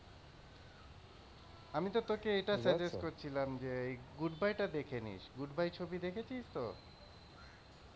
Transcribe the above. আমি তো তোকে এটা suggest করছিলাম যে goodbye টা দেখে নিস গুডবাই ছবি দেখেছিস তো?